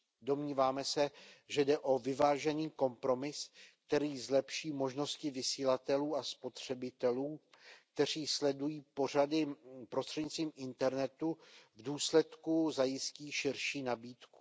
Domníváme se, že jde o vyvážený kompromis, který zlepší možnosti vysílatelů a spotřebitelů, kteří sledují pořady prostřednictvím internetu, a v důsledku zajistí širší nabídku.